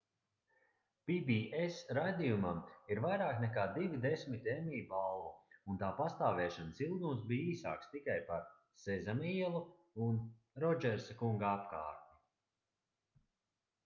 pbs raidījumam ir vairāk nekā divi desmiti emmy balvu un tā pastāvēšanas ilgums bija īsāks tikai par sezama ielu un rodžersa kunga apkārtni